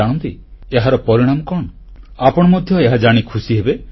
ଜାଣନ୍ତି ଏହାର ପରିଣାମ କଣ ଆପଣ ମଧ୍ୟ ଏହା ଜାଣି ଖୁସି ହେବେ